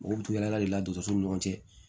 Mɔgɔw bɛ tugu yaala le la dɔgɔtɔsow ni ɲɔgɔn cɛ